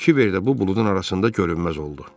Kiver də bu buludun arasında görünməz oldu.